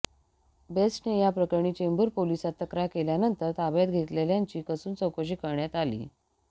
बेस्टने या प्रकरणी चेंबूर पोलिसांत तक्रार केल्यानंतर ताब्यात घेतलेल्यांची कसून चौकशी करण्यात आली